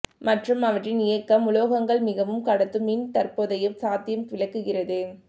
மற்றும் அவற்றின் இயக்கம் உலோகங்கள் மிகவும் கடத்தும் மின் தற்போதைய சாத்தியம் விளக்குகிறது